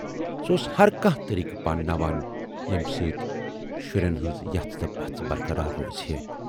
سُہ اوس ہر کانہہ طریٖقہٕ پانناوان ییمہِ سۭتۍ شُریٚن ہٕنز یَژھ تہٕ پَژھ برقرار روٗزِہے۔